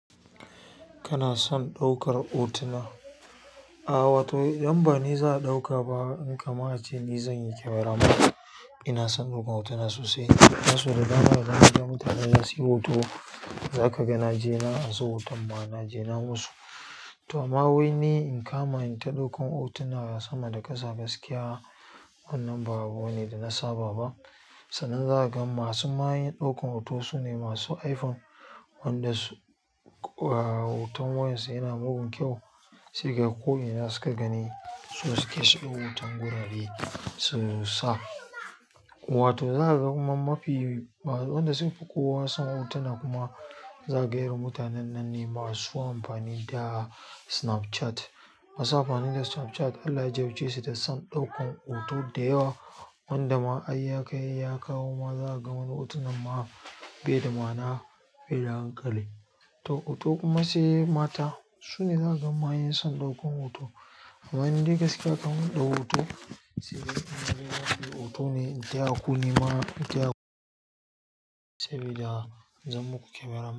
Kana son ɗaukar hotuna? A'a wato, idan ba ni za a ɗauka ba, in kama'ance ne zan yi kamera man. Ina son ɗaukar hotuna sosai. Dan so da dama idan ka ga mutanen na sunyi hoto, za ka ga na je na anso hoton ma na je na musu. To amma wai ni in kama in ta ɗaukan hotuna, sama da ƙasa gaskiya wannan ba abu ne da na saba ba. Sannan za ka ga masu mayen ɗaukan hoto su ne masu iPhone, wanda su, eh, hoton waƴansu yana mugun kyau. Sai kaga ko ina suka gani, su sunke su ɗau hoton gurare su sa. Wato za ka ga kuma mafi masu, wanda sun fi kowa sun hotuna kuma za ka ga irin mutunen nan ne masu amfani da Snapchat. Masu amfani da Snapchat Allah ya jarabce su da son ɗaukan hoto da yawa wanda ma ayyakai ya kawo ma za ka ga wani hoton ma bai da ma'na, bai da hankali. To hoto kuma sai mata su ne za ka ga mayen son ɗaukan hoto. Amma in dai gaskiya ka min ɗau hoton, sai kaga in nayi zan ɗauki hoto ne, in taya ku nema in taya sabida da zan muka kamera man.